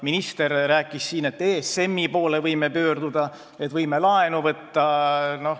Minister rääkis siin, et me võime ESM-i poole pöörduda, me võime laenu võtta.